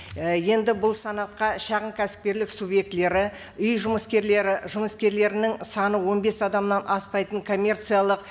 і енді бұл санатқа шағын кәсіпкерлік субъектілері үй жұмыскерлері жұмыскерлерінің саны он бес адамнан аспайтын коммерциялық